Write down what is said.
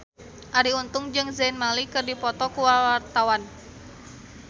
Arie Untung jeung Zayn Malik keur dipoto ku wartawan